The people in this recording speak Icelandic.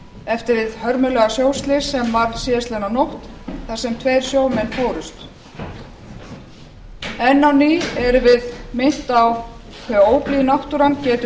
eftir hið hörmulega sjóslys sem varð síðastliðnu nótt þar sem tveir sjómenn fórust enn á ný erum við minnt á hve óblíð náttúran getur